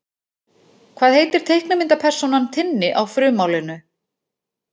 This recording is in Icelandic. Hvað heitir teiknimyndapersónan Tinni á frummálinu?